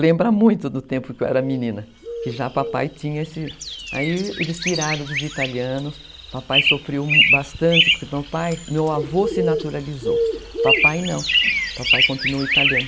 Lembra muito do tempo que eu era menina, que já papai tinha esse... Aí eles tiraram dos italianos, papai sofreu bastante, porque meu pai, porque meu avô se naturalizou, papai não, papai continua italiano.